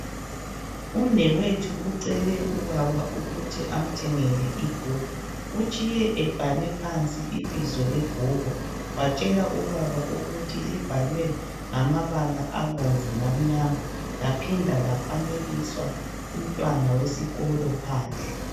Umnewethu ucele ubaba ukuthi amthengele ibhuku. Utshiye ebhale phansi ibizo lebhuku watshela ubaba ukuthi libhalwe ngamabala abomvu lamnyama laphinda lafanekiswa umntwana wesikolo phandle.